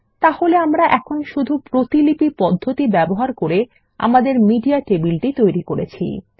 তাহলে আমরা এখন শুধু প্রতিলিপি পদ্ধতি ব্যবহার করে আমাদের মিডিয়া টেবিল তৈরি করেছি